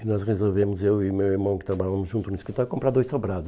E nós resolvemos, eu e meu irmão, que trabalhamos juntos no escritório, comprar dois sobrados.